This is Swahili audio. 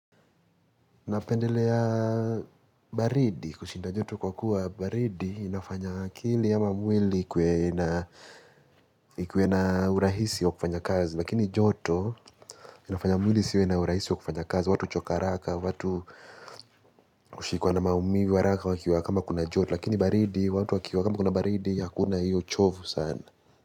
Napendelea baridi kushinda joto kwa kuwa baridi inafanya akili ama mwili ikuwe na urahisi wa kufanya kazi. Lakini joto inafanya mwili isiwe na urahisi wa kufanya kazi, watu huchoka haraka, watu kushikuwa na maumivi waraka wakiwa kama kuna joto. Lakini baridi, watu wakiwa kama kuna baridi, hakuna hiyo chovu sana.